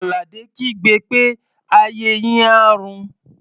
Àlàdé kígbe pé "ayé yín á rún!"